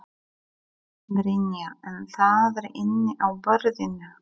Brynja: En það er inni á borðinu?